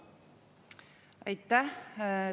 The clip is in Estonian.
Aitäh!